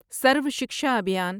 سروا Shiksha ابھیان